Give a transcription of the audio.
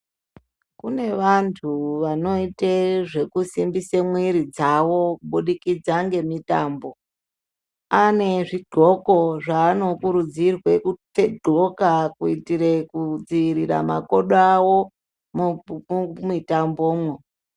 Kune vantu vanoite zvekusimbise mwiri dzavo kubudikidza ngemutambo ane zvid'oko zvaanokurudzirwe kud'oka kuitire kudzivirira makodo awo mumitambomo.